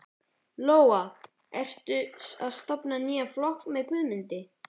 Lóa: En ertu að stofna nýjan flokk með Guðmundi?